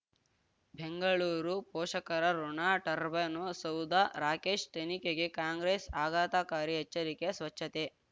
ಬೆಂಗಳೂರು ಪೋಷಕರಋಣ ಟರ್ಬೈನು ಸೌಧ ರಾಕೇಶ್ ತನಿಖೆಗೆ ಕಾಂಗ್ರೆಸ್ ಆಘಾತಕಾರಿ ಎಚ್ಚರಿಕೆ ಸ್ವಚ್ಛತೆ